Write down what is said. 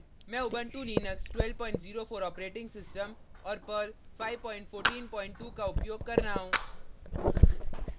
मैं Ubuntu Linux 1204 operating system और Perl perl 5142 का उपयोग कर रहा हूँ